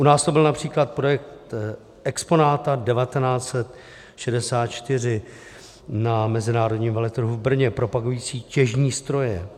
U nás to byl například projekt Exponata 1964 na mezinárodním veletrhu v Brně, propagující těžní stroje.